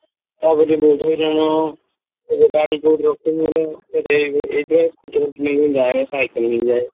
ତା'ପରେ ବହୁତ ହଇରାଣ ଗାଡି କୋଉଠି ରଖିବ ମୁଁ ଏଥି ପାଇଁ scooty ଫୁଟି ନେଇକି ଯାଏନି ସାଇକେଲ ନେଇକି ଯାଏ।